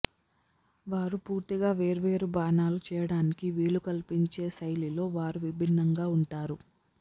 వారు పూర్తిగా వేర్వేరు బాణాలు చేయడానికి వీలు కల్పించే శైలిలో వారు విభిన్నంగా ఉంటారు